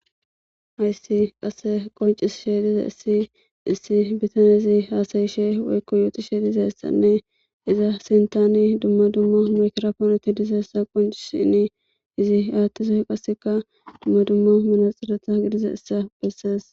hayssi qasse qoncis sheedize issi issi bitane ezi haasayishe woykko yooti sheediza issanne iza sintani dumma dumma mekraponti dizaessa qoncisinni izi aattiso qasseka dumma dummo minaxxiretha gidiza issa bessees